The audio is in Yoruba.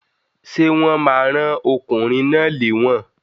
Sé wón ma rán okùnrin náà léwòn